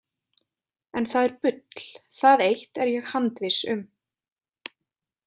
En það er bull, það eitt er ég handviss um.